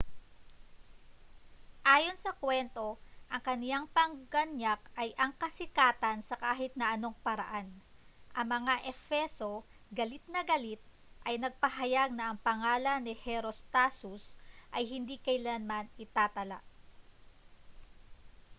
ayon sa kwento ang kaniyang pangganyak ay ang kasikatan sa kahit na anong paraan ang mga efeso galit na galit ay nagpahayag na ang pangalan ni herostatus ay hindi kailanman itatala